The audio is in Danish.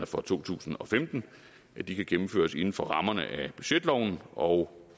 for to tusind og femten kan gennemføres inden for rammerne af budgetloven og